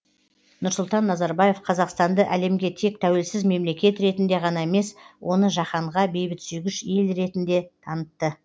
нұрсұлтан назарбаев қазақстанды әлемге тек тәуелсіз мемлекет ретінде ғана емес оны жаһанға бейбітсүйгіш ел ертінде танытты